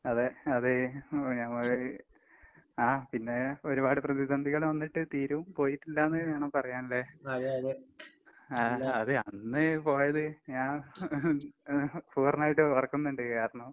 അതെ. അത് എഹ് ഞമ്മള് ആഹ് പിന്നെ ഒരുപാട് പ്രതിസന്ധികള് വന്നിട്ട് തീരവും പോയിട്ടില്ലാന്ന് വേണം പറയാൻല്ലേ? ആഹ് അത് അന്ന് പോയത് ഞാൻ പൂർണ്ണായിട്ട് ഓർക്കുന്ന്ണ്ട് കാരണം